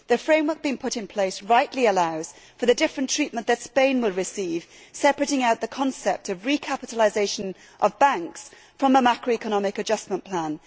The framework being put in place rightly allows for the different treatment that Spain will receive, separating out the concept of recapitalisation of banks from a macroeconomic adjustment plan.